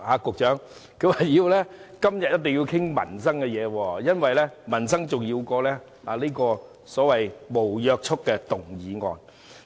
局長，他們說今天一定要討論民生議題，因為民生比所謂無約束力的議案重要。